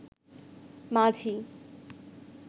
মাঝি